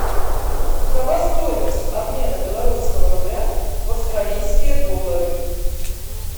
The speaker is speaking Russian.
какова стоимость обмена белорусского рубля в австралийские доллары